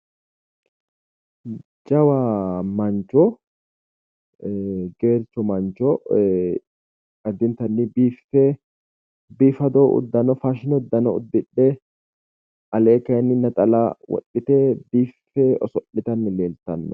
Jawa mancho geercho mancho addinttanni Biife biifado udano faashine uddano uddidhe Alee kayiinni naxala woxxite biife oso'litanni Leeltanoe.